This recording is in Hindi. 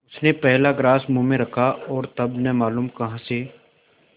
उसने पहला ग्रास मुँह में रखा और तब न मालूम कहाँ से